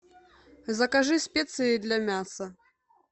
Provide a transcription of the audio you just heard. закажи специи для мяса